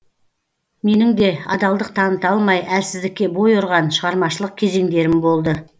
менің де адалдық таныта алмай әлсіздікке бой ұрған шығармашылық кезеңдерім болды